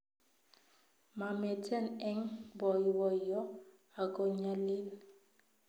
Mameten eng boiboiyo ago nyalil